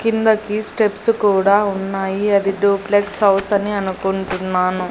కిందకి స్టెప్స్ కూడా ఉన్నాయి అది డూప్లెక్స్ హౌస్ అని అనుకుంటున్నాను.